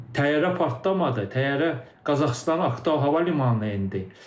Təyyarə partlamadı, təyyarə Qazaxıstanın Aktau hava limanına endi.